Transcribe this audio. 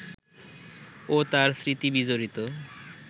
ও তার স্মৃতিবিজড়িত